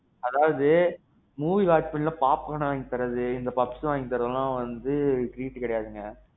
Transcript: அதாவது. movie watch பண்ணும்போது popcorn வாங்கி தர்றது, puffs வாங்கி தர்றது எல்லாம் treat கிடையாதுங்க.